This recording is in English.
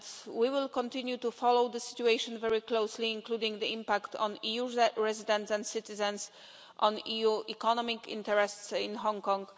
We will continue to follow the situation very closely, including the impact on EU residents and citizens and on EU economic interests in Hong Kong.